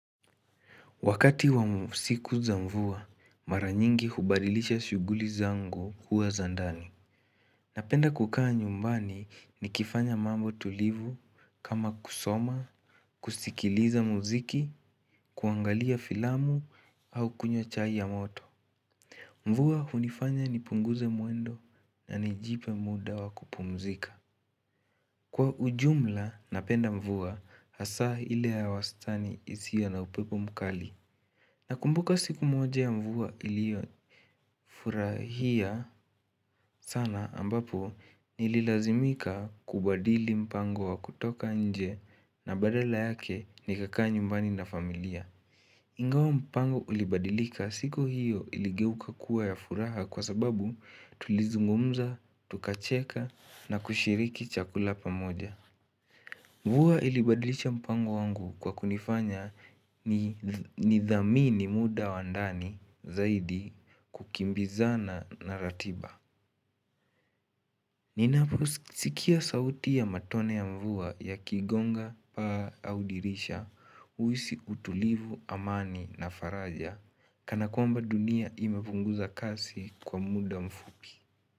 Wakati wa siku za mvua, mara nyingi hubadilisha shughuli zangu huwa za ndani. Napenda kukaa nyumbani nikifanya mambo tulivu kama kusoma, kusikiliza muziki, kuangalia filamu au kunywa chai ya moto. Mvua hunifanya nipunguze mwendo na nijipe muda wa kupumzika. Kwa ujumla, napenda mvua hasa ile ya wastani isiyo na upepo mkali. Nakumbuka siku moja ya mvua iliyo furahia sana ambapo nililazimika kubadili mpango wa kutoka nje na badala yake nikakaa nyumbani na familia. Ingawa mpango ulibadilika, siku hiyo iligeuka kuwa ya furaha kwa sababu tulizungumza, tukacheka na kushiriki chakula pamoja. Mvua ilibadilisha mpango wangu kwa kunifanya nithamini muda wa ndani zaidi kukimbizana na ratiba. Ninaposikia sauti ya matone ya mvua yakigonga paa au dirisha huhisi utulivu, amani na faraja Kana kwamba dunia imepunguza kasi kwa muda mfupi.